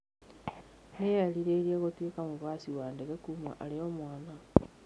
Nĩ eerirĩirie gũtuĩka mũhaici wa ndege kuuma arĩ o mwana.